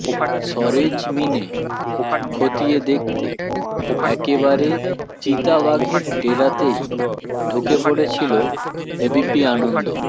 সরেজমিনে খতিয়ে দেখতে একেবারে চিতাবাঘের ডেরাতেই ঢুকে পড়েছিল এবিপি আনন্দ